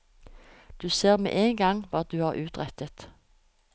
Du ser med en gang hva du har utrettet.